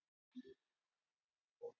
sagði Magnús í gegnum peysuna.